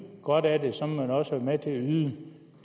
godt af det så må man også være med til yde